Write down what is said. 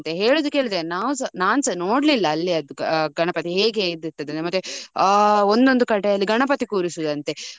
ಅಂತೆ ಹೇಳುದು ಕೇಳಿದೇನೆ ನಾವುಸ ನಾನುಸ ನೋಡ್ಲಿಲ್ಲ ಅಲ್ಲಿ ಆ ಗಣಪತಿ ಹೇಗೆ ಇದ್ದೀರ್ತದೆ ಅಂತ. ಮತ್ತೆ ಆ ಒಂದೊಂದು ಕಡೆಯಲ್ಲಿ ಗಣಪತಿ ಕೂರಿಸುದಂತೆ.